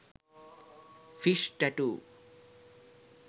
fish tattoo